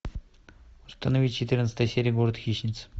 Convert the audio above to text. установи четырнадцатая серия город хищниц